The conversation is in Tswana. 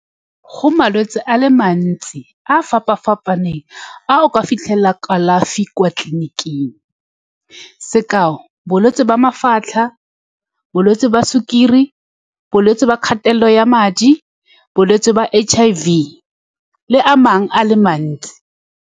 Go malwetse a le mantsi a a fapa-fapaneng a o ka fitlhelang kalafi kwa tleliniking. Sekao, bolwetse jwa mafatlha, bolwetse ba sukiri, bolwetse ba kgatelelo ya madi, bolwetse ba H_I_V, le a mangwe a le mantsi.